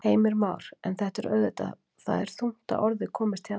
Heimir Már: En þetta er auðvitað, það er þungt að orði komist hérna?